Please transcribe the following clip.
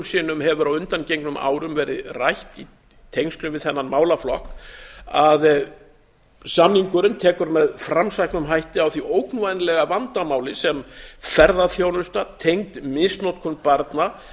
sinnum hefur á undangengnum árum verið rætt í tengslum við þennan málaflokk að samningurinn tekur með framsæknum hætti á því ógnvænlega vandamáli sem ferðaþjónusta tengd misnotkun barna